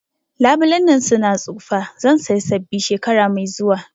Labulen nan su na tsufa, zan saya sabbi shekara mai zuwa